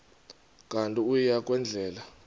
kanti uia kwendela